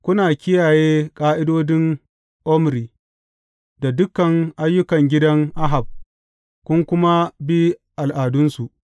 Kuna kiyaye ƙa’idodin Omri da dukan ayyukan gidan Ahab kun kuma bi al’adunsu.